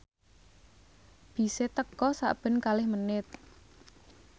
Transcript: bise teka sakben kalih menit